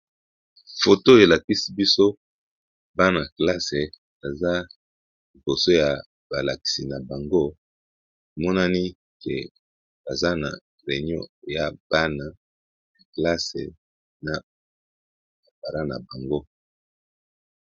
Foto elakisi biso bana-classe baza liboso ya balakisi na bango emonani que baza na réunion ya bana classe na ba parent na bango.